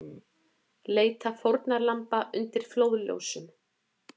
Leita fórnarlamba undir flóðljósum